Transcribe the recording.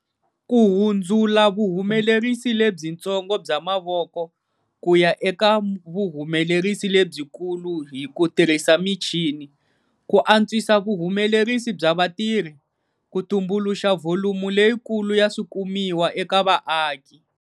Ku hundzula vuhumelerisi lebyintsongo bya mavoko ku ya eka vuhumelerisi lebyikulu hi ku tirhisa michini, ku antswisa vuhumelerisi bya vatirhi, ku tumbuluxa vholumo leyikulu ya swikumiwa eka vaaki.